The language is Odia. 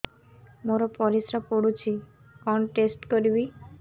ମୋର ପରିସ୍ରା ପୋଡୁଛି କଣ ଟେଷ୍ଟ କରିବି